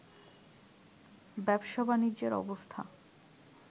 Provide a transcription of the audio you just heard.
ব্যবসা-বাণিজ্যের অবস্থা